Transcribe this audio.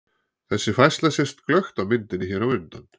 Þessi færsla sést glöggt á myndinni hér á undan.